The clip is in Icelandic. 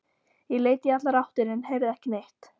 Ég leit í allar áttir en heyrði ekki neitt.